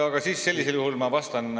Aga sellisel juhul ma vastan ...